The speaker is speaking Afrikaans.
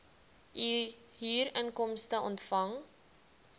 u huurinkomste ontvang